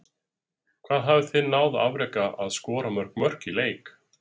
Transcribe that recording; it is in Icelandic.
Hvað hafið þið náð að afreka að skora mörg mörk í leik?